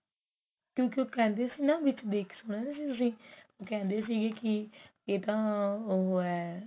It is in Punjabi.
ਕਿਉਂਕਿ ਉਹ ਕਹਿੰਦੇ ਸੀ ਵਿੱਚ ਸੁਣਿਆ ਸੀ ਨਾ ਤੁਸੀਂ ਕਹਿੰਦੇ ਸੀਗੇ ਕੀ ਇਹ ਤਾਂ ਉਹ ਹੈ